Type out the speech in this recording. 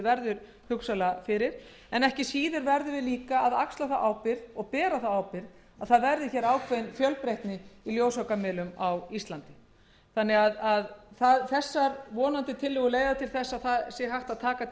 verður hugsanlega fyrir en ekki síður verðum við að axla þá ábyrgð og bera þá ábyrgð að það verði ákveðin fjölbreytni í ljósvakamiðlum á íslandi þessar tillögur leiða vonandi til þess að hægt sé að taka tillit